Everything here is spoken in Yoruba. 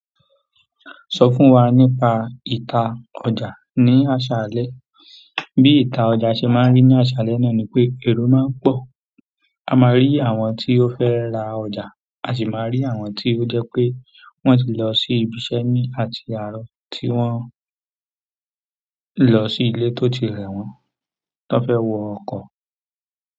Sọ fún wa nípa ìta ọjà ní àṣálẹ́. Bí ìta ọjà ṣe máa ń rí ní àṣálẹ́ náà ni pé ẹ̀ro máa ń pọ̀. A máa rí àwọn tí ó fẹ́ ra ọjà, a sì máa rí àwọn tí ó jẹ́ pé wọ́n ti lọ sí ibi iṣẹ́ ní àti àárọ̀ tí wọ́n. Lọ sí ilé tó ti rẹ̀ wọ́n, tó fẹ́ wọ ọkọ̀.